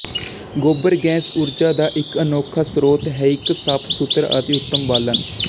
ਗੋਬਰ ਗੈਸ ਊਰਜਾ ਦਾ ਇੱਕ ਅਨੋਖਾ ਸਰੋਤ ਹੈਇਕ ਸਾਫ਼ ਸੁਥਰਾ ਅਤੇ ਉਤਮ ਬਾਲਣ